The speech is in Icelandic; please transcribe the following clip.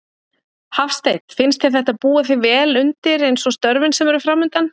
Hafsteinn: Finnst þér þetta búa þig vel undir eins og störfin sem eru framundan?